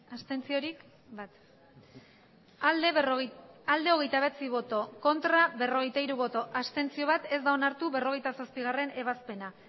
abstentzioa hogeita bederatzi bai berrogeita hiru ez bat abstentzio ez da onartu berrogeita zazpigarrena ebazpena